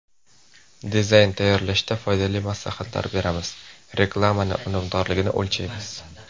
Dizayn tayyorlashda foydali maslahatlar beramiz, reklamani unumdorligini o‘lchaymiz.